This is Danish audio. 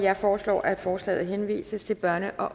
jeg foreslår at forslaget henvises til børne og